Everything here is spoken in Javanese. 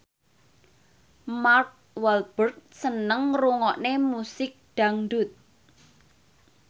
Mark Walberg seneng ngrungokne musik dangdut